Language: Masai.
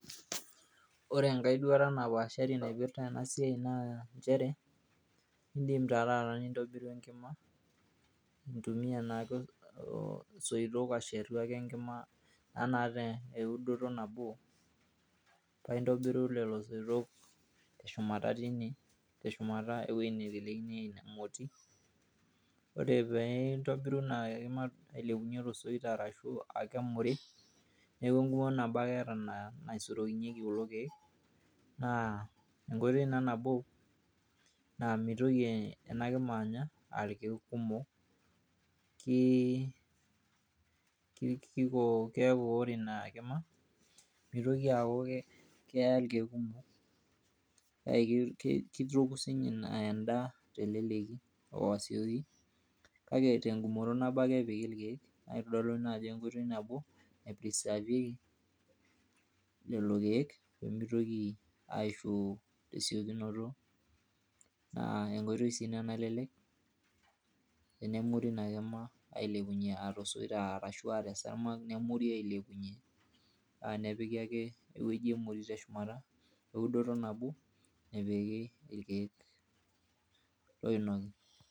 ore enkae duata napaashari naipirta ena bae naa nchere, idim naa nintobiru enkima intumia naa issoitok ashetu ake enkima, naata eudoto nabo. paa intobiru lelo soitok teshumata teine .teshumata ewueji neitelekinyeki inamoti, ore pee intobiru nai ailepunye tosoit arashu, akemuri. neeku egumoto nabo ake eeta naisurukinyeki kulo keek. naa enkoitoi naa nabo. naa mitoki naa ena kima anya aa irkeek kumok. kiko, keeku ore ina kima mitoki aaku keya irkeek kumok, kake kitoku sii ninye edaa telelki oo asioki. kake tegumoto nabo ake epiki irkeek. naa kitodolu ina ajo enkoitoi nabo nai preserve lelo keek pee mitoki aishu tesiokinoto naa enkoitoi sii ina nalelek, tenemuri ina kima ashu te sargama, nemuri ailepunye, nepiki irkeek oinoki.